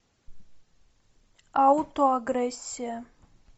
аутоагрессия